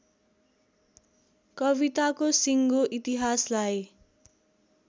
कविताको सिङ्गो इतिहासलाई